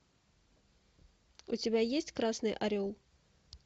у тебя есть красный орел